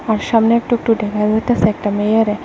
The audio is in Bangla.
সামনে একটু একটু দেখা যাইতাসে একটা মেয়েরে।